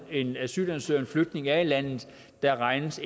en asylansøger en flygtning er i landet der regnes